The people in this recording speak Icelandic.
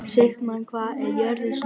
Sigmann, hvað er jörðin stór?